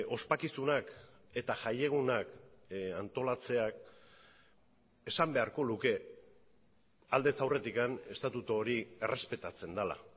ospakizunak eta jaiegunak antolatzeak esan beharko luke aldez aurretik estatutu hori errespetatzen dela